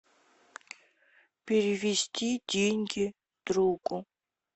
перевести деньги другу